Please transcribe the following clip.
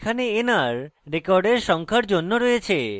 এখানে nr records সংখ্যার জন্য রয়েছে